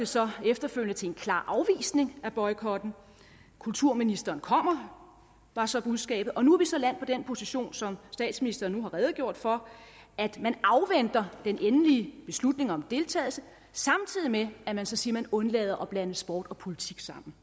så efterfølgende til en klar afvisning af boykotten kulturministeren kommer var så budskabet og nu er vi så landet i den position som statsministeren nu har redegjort for at man afventer den endelige beslutning om deltagelse samtidig med at man så siger at man undlader at blande sport og politik sammen